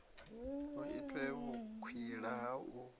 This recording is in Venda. hu itwe vhukwila ha u